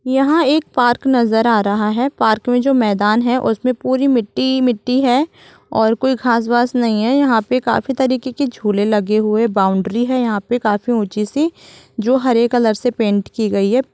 यहाँ एक पार्क नज़र आ रहा है पार्क में जो मैदान है उसमे पूरी मिट्टी-मिट्टी है और कोई घास-वास नही है यहाँ पे काफी तरीके के झूले लगे हुए है बाउंड्री है यहाँ पे काफी ऊंची सी जो हरे कलर से पेंट की गई है।